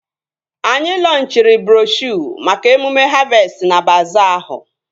Anyị lọnchịrị broshuo maka emume havestị na baazaa ahụ